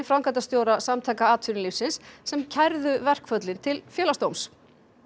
framkvæmdastjóra Samtaka atvinnulífsins sem kærðu verkföllin til Félagsdóms